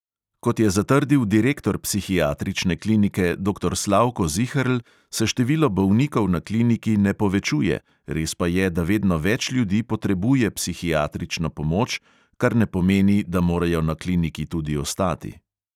Kot je zatrdil direktor psihiatrične klinike doktor slavko ziherl, se število bolnikov na kliniki ne povečuje, res pa je, da vedno več ljudi potrebuje psihiatrično pomoč, kar ne pomeni, da morajo na kliniki tudi ostati.